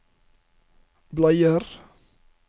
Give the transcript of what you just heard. bleier